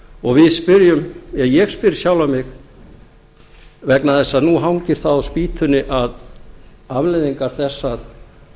og ég spyr sjálfan mig vegna þess að nú hangir það á spýtunni að afleiðingar þess að